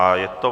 A je to